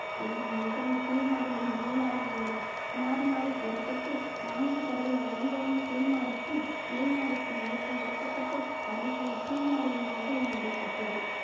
எனினும் நிகழ்வு கீழ் மாடியில் மேல்மாடியில் என மாறி மாறி கூற பட்டு நான்கு தடவை அனைவரும் கீழ் மாடிக்கும் மேல் மாடிக்கும் ஏற்றி இறக்கப்பட்டு கடைசியில் கீழ் மாடியில் நிகழ்வு நடைபெற்றது